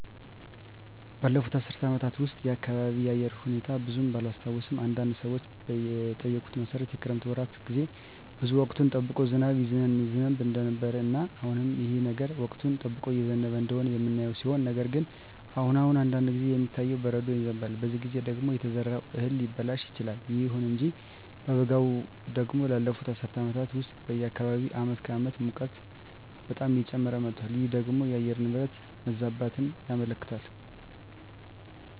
ባለፉት አስር አመታት ውስጥ የአካባቢየ የአየር ሁኔታ ብዙም ባላስታውሰውም አንዳንድ ሰዎችን በጠየኩት መሠረት የክረምት ወራት ጌዜ ውስጥ ወቅቱን ጠብቆ ዝናብ ይዘንብ እንደነበረ እና አሁንም ይህ ነገር ወቅቱን ጠብቆ እየዘነበ እንደሆነ የምናየው ሲሆን ነገር ግን አሁን አሁን አንዳንድ ጊዜ የሚታየው በረዶ ይዘንባል በዚህ ጊዜ ደግሞ የተዘራው እህል ሊበላሽ ይችላል። ይሁን እንጂ በበጋው ደግሞ ባለፋት አስር አመታት ውስጥ በአካባቢየ አመት ከአመት ሙቀቱ በጣም እየጨመረ መጧል ይህ ደግሞ የአየር ንብረት መዛባትን ያመለክታል